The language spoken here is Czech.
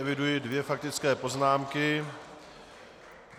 Eviduji dvě faktické poznámky.